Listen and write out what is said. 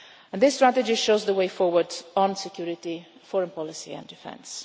This strategy shows the way forward on security, foreign policy and defence.